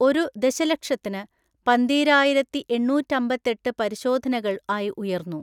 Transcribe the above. ഒരുദശലക്ഷത്തിന് പന്തീരായിരത്തിഎണ്ണൂറ്റമ്പത്തെട്ട് പരിശോധനകൾആയിഉയർന്നു.